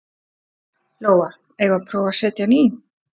Lóa: Eigum við að prófa að setja hann í?